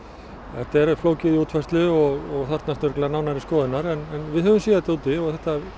þetta er flókið í útfærslu og þarfnast örugglega nánari skoðunar en við höfum séð þetta úti og þetta